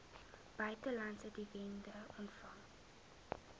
buitelandse dividende ontvang